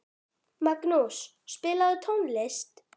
Magnús, spilaðu tónlist.